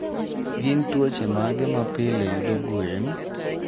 Gin tuoche mage ma pile yudo gwen?